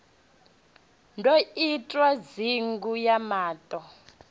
ḓo itwa ndingo ya maṱo